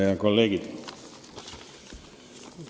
Head kolleegid!